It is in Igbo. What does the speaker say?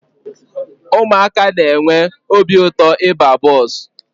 Ụmụaka na-enwe obi ụtọ ịba bọọsụ.